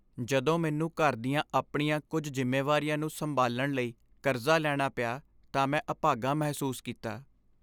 ਜਦੋਂ ਮੈਨੂੰ ਘਰ ਦੀਆਂ ਆਪਣੀਆਂ ਕੁੱਝ ਜ਼ਿੰਮੇਵਾਰੀਆਂ ਨੂੰ ਸੰਭਾਲਣ ਲਈ ਕਰਜ਼ਾ ਲੈਣਾ ਪਿਆ ਤਾਂ ਮੈਂ ਆਭਾਗਾ ਮਹਿਸੂਸ ਕੀਤਾ।